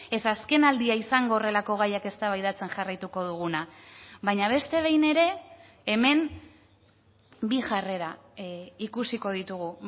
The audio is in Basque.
ez azken aldia izango horrelako gaiak eztabaidatzen jarraituko duguna baina beste behin ere hemen bi jarrera ikusiko ditugu